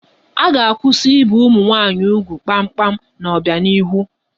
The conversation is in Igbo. A ga-akwụsị ibe ụmụ nwaanyị ugwu kpamkpam n'ọbianihu